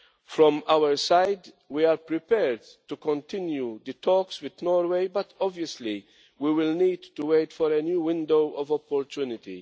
From our side, we are prepared to continue the talks with Norway, but obviously we will need to wait for a new window of opportunity.